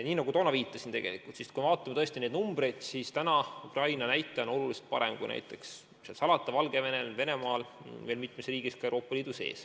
Nii nagu ma juba viitasin, kui me tõesti neid numbreid vaatame, siis Ukraina näitaja on oluliselt parem kui näiteks Valgevenel, Venemaal ja mitmes riigis ka Euroopa Liidus.